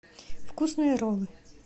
вкусные роллы